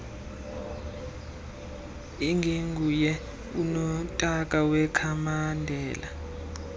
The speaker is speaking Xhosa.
ingenguye unotaka wekhamandela